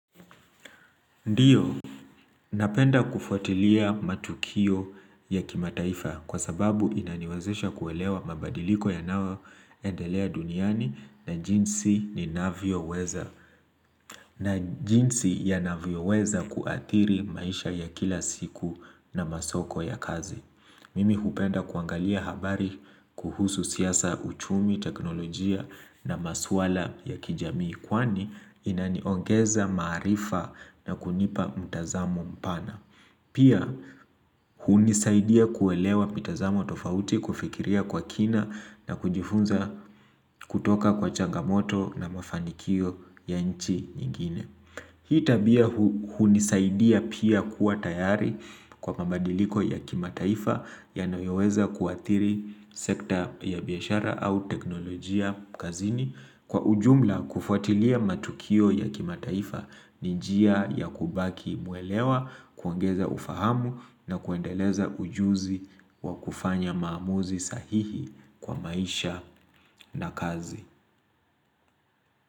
Ndiyo, napenda kufuatilia matukio ya kimataifa kwa sababu inaniwazesha kuelewa mabadiliko yanayoendelea duniani na jinsi ninavyoweza na jinsi yanavyoweza kuathiri maisha ya kila siku na masoko ya kazi Mimi hupenda kuangalia habari kuhusu siasa uchumi teknolojia na maswala ya kijamii kwani inaniongeza maarifa na kunipa mtazamo mpana Pia hunisaidia kuelewa mitazamo tofauti kufikiria kwa kina na kujifunza kutoka kwa changamoto na mafanikio ya nchi nyingine Hii tabia hunisaidia pia kuwa tayari kwa mabadiliko ya kimataifa yanayoweza kuathiri sekta ya biashara au teknolojia kazini. Kwa ujumla kufuatilia matukio ya kimataifa ni njia ya kubaki mwelewa, kuongeza ufahamu na kuendeleza ujuzi wa kufanya maamuzi sahihi kwa maisha na kazi.